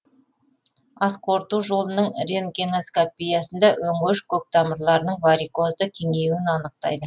асқорыту жолының рентгеноскопиясында өңеш көктамырларының варикозды кеңеюін анықтайды